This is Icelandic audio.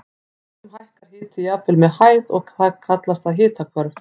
Stundum hækkar hiti jafnvel með hæð og kallast það hitahvörf.